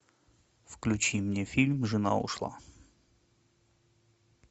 включи мне фильм жена ушла